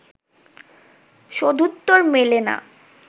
সদুত্তর মেলে না